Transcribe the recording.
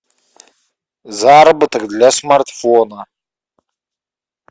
заработок для смартфона